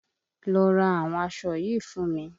Lọ àwọn aṣọ yìí fún mi!